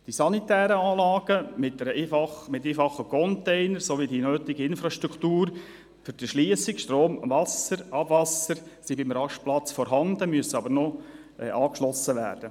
Die sanitären Anlagen, mit einfachen Containern, sowie die nötige Infrastruktur für die Erschliessung – Strom, Wasser, Abwasser – sind beim Rastplatz vorhanden, müssen aber noch angeschlossen werden.